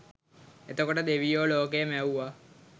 එතකොට දෙවියෝ ලෝකය මැවුව